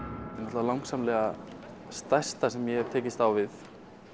það langsamlega stærsta sem ég hef tekist á við